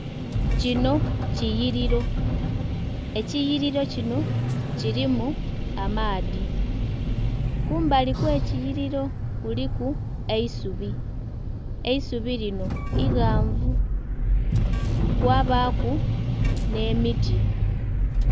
Kino kiyiliro, ekiyiliro kino kilimu amaadhi. Kumbali kw'ekiyiliro kuliku eisubi, eisubi linho ighanvu, kwabaaku nh'emiti.